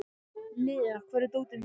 Lea, hvar er dótið mitt?